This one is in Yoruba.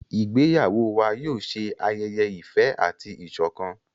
Ìgbéyàwó wà yóò ṣe ayẹyẹ ìfẹ àti ìsọkan.